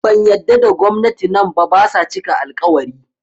Ban yadda da gwamnati nan ba, basa cika al-ƙawari